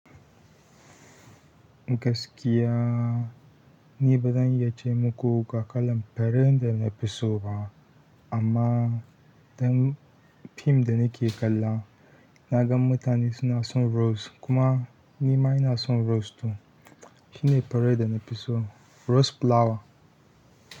Gaskiya ni bazan iya ce muku ga kalan zare da nafi so ba. Amma don fim da nake kalla naga mutane suna son rose, kuma nima ina son rose to shine fure da nafi so, rose flower.